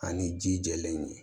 Ani ji jɛlen